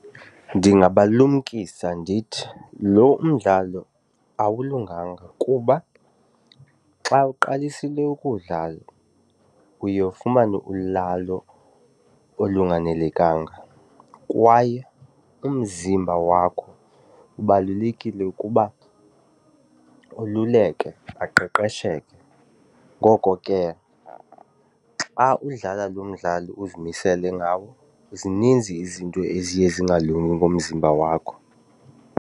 Ndingabalumkisa ndithi lo umdlalo awulunganga kuba xa uqalisile ukuwudlala uye ufumane ulalo olunganelekanga kwaye umzimba wakho kubalulekile ukuba ululeke aqeqesheke. Ngoko ke xa udlala lo mdlalo uzimisele ngawo zininzi izinto eziye zingalungi ngomzimba wakho.